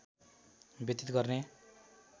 व्यतित गर्ने